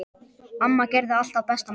Amma gerði alltaf besta matinn.